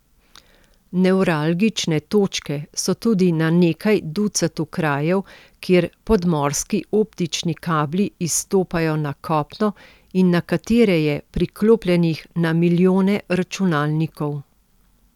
Nevralgične točke so tudi na nekaj ducatu krajev, kjer podmorski optični kabli izstopajo na kopno in na katere je priklopljenih na milijone računalnikov.